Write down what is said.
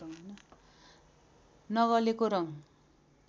नगलेको रङ